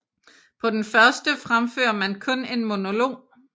På den første fremfører man kun en monolog